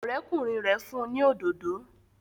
Ọ̀rẹ́kùnrin rẹ̀ fún ni òdodo